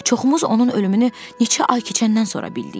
Çoxumuz onun ölümünü neçə ay keçəndən sonra bildik.